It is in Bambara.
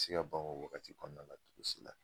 A ti se ka ban o wagati kɔnɔna la togo si la